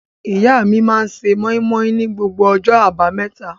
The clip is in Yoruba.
Ìyá mi máa ń se móímóí ni gbogbo ọjọ́ àbámẹ́ta.